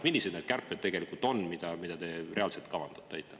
Millised need kärped tegelikult on, mida te reaalselt kavandate?